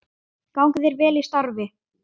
Gangi þér vel í starfi.